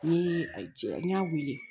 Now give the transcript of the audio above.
Ni cɛ n y'a weele